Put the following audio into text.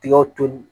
Tigaw toli